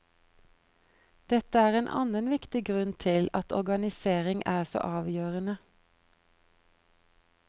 Dette er en annen viktig grunn til at organisering er så avgjørende.